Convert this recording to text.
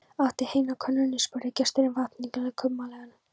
Áttu heitt á könnunni? spurði gesturinn vafningalaust og kumpánlega.